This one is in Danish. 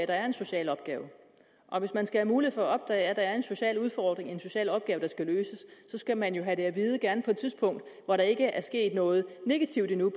der er en social opgave og hvis man skal have mulighed for at opdage at der er en social udfordring en social opgave der skal løses skal man jo have det at vide gerne på et tidspunkt hvor der ikke er sket noget negativt endnu